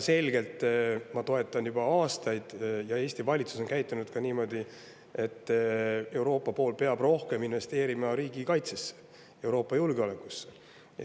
Ma toetan juba aastaid väga selgelt seda, ja Eesti valitsus on niimoodi ka käitunud, et Euroopa pool peab rohkem investeerima riigikaitsesse, Euroopa julgeolekusse.